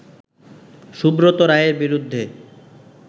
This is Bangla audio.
সুব্রত রায়ের বিরুদ্ধে